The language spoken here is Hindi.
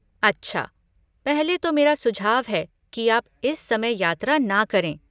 अच्छा, पहले तो मेरा सुझाव है कि आप इस समय यात्रा ना करें।